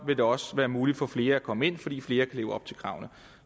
vil det også være muligt for flere at komme ind fordi flere kan leve op til kravene